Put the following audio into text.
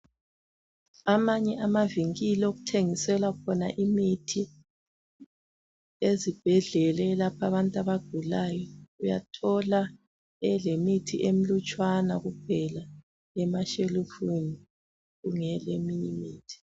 Amanye amavinkili okuthengisela khona imithi ezibhedlela eyelapha abantu abagulayo, uyathola elemithi emlutshwana kuphela emashelufini kungela eminye imithi.